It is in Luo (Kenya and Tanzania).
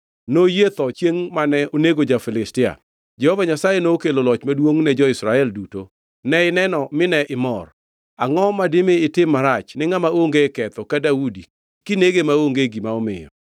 Noyie tho chiengʼ mane onego ja-Filistia. Jehova Nyasaye nokelo loch maduongʼ ne jo-Israel duto, ne ineno mine imor. Angʼo madimi itim marach ni ngʼama onge ketho ka Daudi kinege maonge gima omiyo?”